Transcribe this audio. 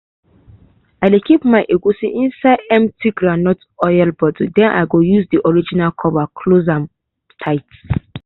i dey keep my egusi inside empty groundnut oil bottle then i use the original cover close am tight.